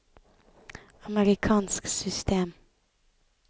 amerikansk system